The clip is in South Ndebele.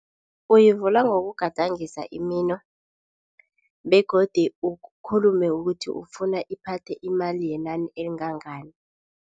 Uyivula ngokugadangisa imino begodu ukhulume ukuthi ufuna iphathe imali yenani elingangani.